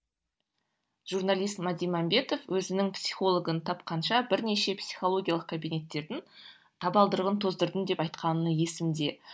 журналист мәди мәмбетов өзінің психологын тапқанша бірнеше психологиялық кабинеттердің табалдырығын тоздырдым деп айтқаны есімде